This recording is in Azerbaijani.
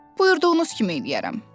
Buyurduğunuz kimi eləyərəm.